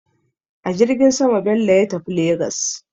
A jirgin sama Bello ya tafi Legas.